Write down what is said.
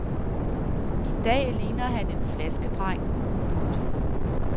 I dag ligner han en flaskedreng. punktum